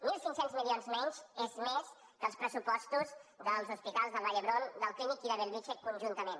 mil cinc cents milions menys és més que els pressupostos dels hospitals del vall d’hebron del clínic i de bellvitge conjuntament